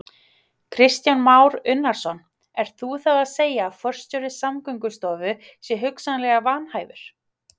Kristján Már Unnarsson: Ert þú þá að segja að forstjóri Samgöngustofu sé hugsanlega vanhæfur?